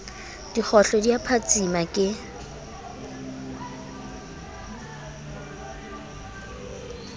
dikgohlo di a phatsima ke